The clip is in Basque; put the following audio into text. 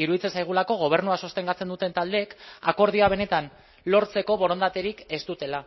iruditzen zaigulako gobernua sostengatzen duten taldeek akordioa benetan lortzeko borondaterik ez dutela